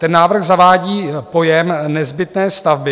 Ten návrh zavádí pojem nezbytné stavby.